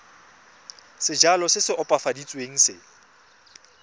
sejalo se se opafaditsweng se